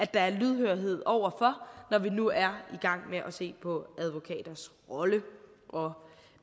der er lydhørhed over for når vi nu er i gang med at se på advokaters roller og